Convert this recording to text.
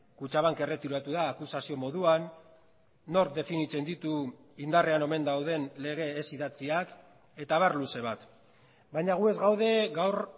kutxabank erretiratu da akusazio moduan nork definitzen ditu indarrean omen dauden lege ez idatziak eta abar luze bat baina gu ez gaude gaur